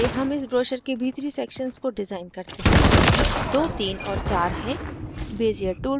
सबसे पहले हम इस ब्रोशर के भीतरी sections को डिज़ाइन करते हैं जोकि 23 और 4 हैं